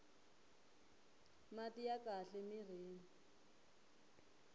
mati ya kahle mirhini